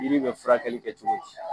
Yiri bɛ furakɛli kɛ cogo di